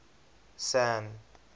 san